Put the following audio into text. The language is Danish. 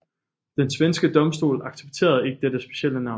Den svenske domstol accepterede ikke dette specielle navn